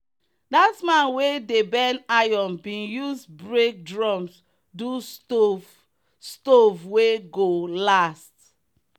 that man we dey bend iron bin use break drums do stove stove wey go last.